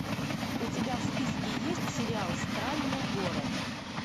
у тебя в списке есть сериал странный город